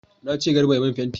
Na ce Garba ya mun fenti!